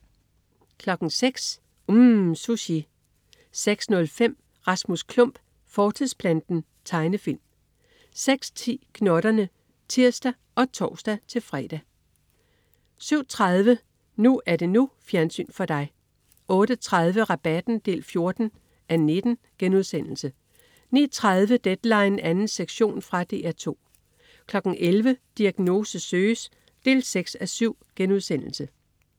06.00 UMM. Sushi 06.05 Rasmus Klump fortidsplanten. Tegnefilm 06.10 Gnotterne (tirs og tors-fre) 07.30 NU er det NU. Fjernsyn for dig 08.30 Rabatten 14:19* 09.30 Deadline 2. sektion. Fra DR 2 11.00 Diagnose søges 6:7*